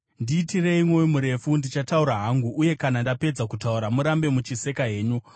Ndiitire mwoyo murefu ndichitaura hangu, uye kana ndapedza kutaura, urambe uchiseka hako.